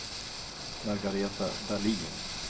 Margaretha Dahlin